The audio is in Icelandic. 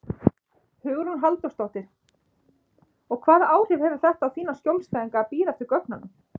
Hugrún Halldórsdóttir: Og hvaða áhrif hefur þetta á þína skjólstæðinga að bíða eftir gögnunum?